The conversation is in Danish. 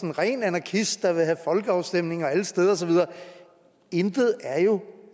en ren anarkist der vil have folkeafstemninger alle steder og så videre intet er jo